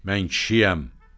Mən kişiyəm.